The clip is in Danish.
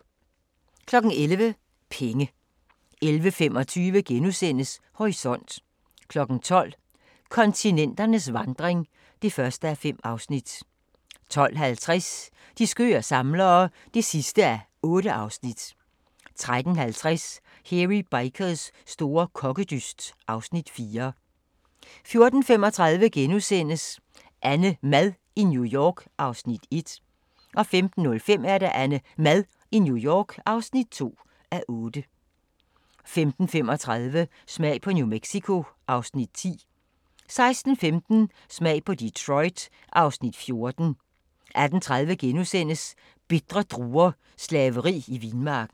11:00: Penge 11:25: Horisont * 12:00: Kontinenternes vandring (1:5) 12:50: De skøre samlere (8:8) 13:50: Hairy Bikers store kokkedyst (Afs. 4) 14:35: AnneMad i New York (1:8)* 15:05: AnneMad i New York (2:8) 15:35: Smag på New Mexico (Afs. 10) 16:15: Smag på Detroit (Afs. 14) 18:30: Bitre druer – slaveri i vinmarken *